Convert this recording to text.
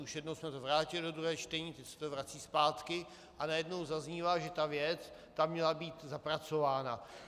Už jednou jsme to vrátili do druhého čtení, teď se to vrací zpátky a najednou zaznívá, že ta věc tam měla být zapracována.